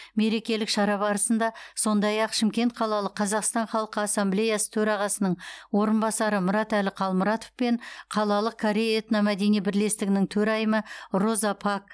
мерекелік шара барысында сондай ақ шымкент қалалық қазақстан халқы ассамблеясы төрағасының орынбасары мұратәлі қалмұратов пен қалалық корей этно мәдени бірлестігінің төрайымы роза пак